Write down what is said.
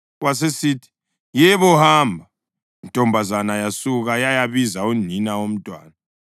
Yasisithi, “Yebo, hamba.” Intombazana yasuka yayabiza unina womntwana.